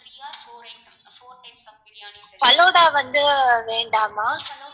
falooda வந்து வேண்டாமா